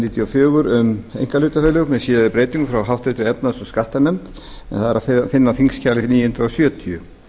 og fjögur um einkahlutafélög með síðari breytingum frá háttvirtri efnahags og skattanefnd en það er að finna á þingskjali níu hundruð sjötíu